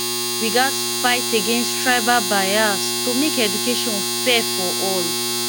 we gats fight against tribal bias to make education fair for all